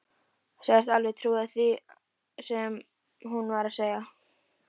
Sagðist alveg trúa því sem hún var að segja.